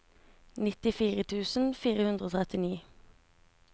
nittifire tusen fire hundre og trettini